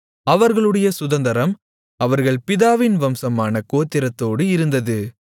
அவர்களுடைய சுதந்தரம் அவர்கள் பிதாவின் வம்சமான கோத்திரத்தோடு இருந்தது